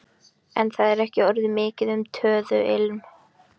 En það er ekki orðið mikið um töðuilm.